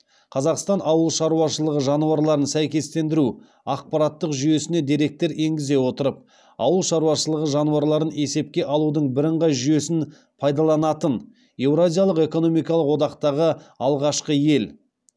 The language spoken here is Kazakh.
қазақстан ауыл шаруашылығы жануарларын сәйкестендіру ақпараттық жүйесіне деректер енгізе отырып ауыл шаруашылығы жануарларын есепке алудың бірыңғай жүйесін пайдаланатын еуразиялық экономикалық одақтағы алғашқы ел